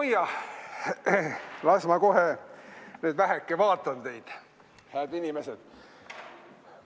Oi-jah, las ma kohe nüüd väheke vaatan teid, hääd inimesed!